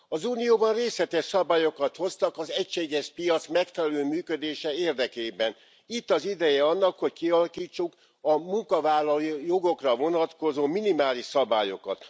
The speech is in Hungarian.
Az unióban részletes szabályokat hoztak az egységes piac megfelelő működése érdekében. Itt az ideje annak, hogy kialakítsuk a munkavállalói jogokra vonatkozó minimális szabályokat.